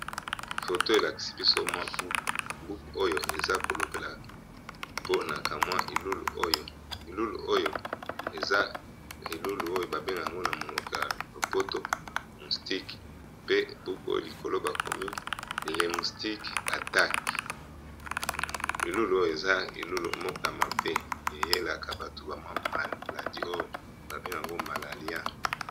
Photo elakisi biso mwa buku, buku oyo eza kolobela ngugi